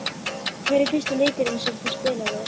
Hver er fyrsti leikurinn sem þú spilaðir?